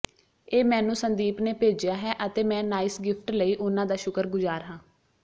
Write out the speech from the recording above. ਇਹ ਮੈਨੂੰ ਸੰਦੀਪ ਨੇ ਭੇਜਿਆ ਹੈ ਅਤੇ ਮੈਂ ਨਇਸ ਗਿਫਟ ਲਈ ਉਨ੍ਹਾਂ ਦਾ ਸ਼ੁੱਕਰਗੁਜ਼ਾਰ ਹਾਂ